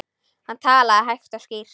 Hann talaði hægt og skýrt.